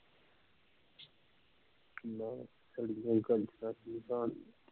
ਨਾਂ